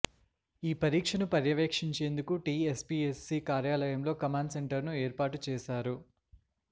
ఈ పరీక్ష ను పర్యవేక్షించేందుకు టిఎస్పిఎస్సి కార్యాలయంలో కమాండ్ సెంటర్ ను ఏర్పాటు చేశారు